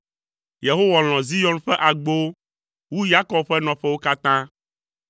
Yehowa lɔ̃ Zion ƒe agbowo wu Yakob ƒe nɔƒewo katã.